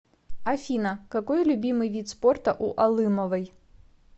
афина какой любимый вид спорта у алымовой